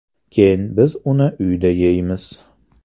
Keyin biz uni uyda yeymiz.